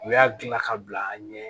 U y'a dilan ka bila an ɲɛ